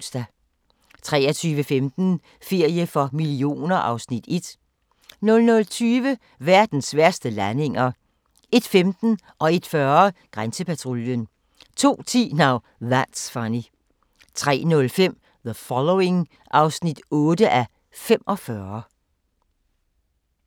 23:15: Ferie for millioner (Afs. 1) 00:20: Verdens værste landinger 01:15: Grænsepatruljen 01:40: Grænsepatruljen 02:10: Now That's Funny 03:05: The Following (8:45)